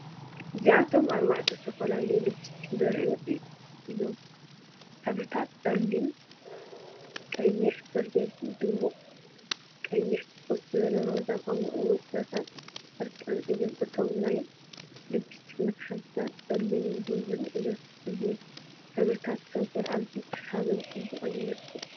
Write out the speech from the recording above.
እዚኣቶም ኣርባዕተ ዝተፈላለዩ ልፕስቲክ ዘርእዩ እዮም። ሕብርታት ጸሊም ቀይሕ/በርገንዲ፡ ድሙቕ ቀይሕ፡ ፍኹስ ዝበለ ሮዛ፡ ከምኡ’ውን ፍረታት ዕርቃን እዮም። እቶም ናይ ልፕስቲክ መትሓዚታት ጸሊምን ብሩርን እዮም። እዚ ሕብርታት ከንፈር ኣዝዩ ሰሓብን ጽቡቕን ይመስል።